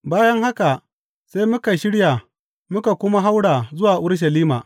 Bayan haka, sai muka shirya muka kuma haura zuwa Urushalima.